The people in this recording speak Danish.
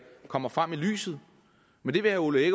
kommer frem i lyset men det vil herre ole